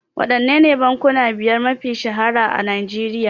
Waɗannene bankuna biyar mafiya shahara a Nigeria?